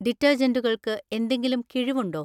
ഡിറ്റർജന്റുകൾക്ക് എന്തെങ്കിലും കിഴിവ് ഉണ്ടോ?